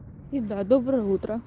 доброе утро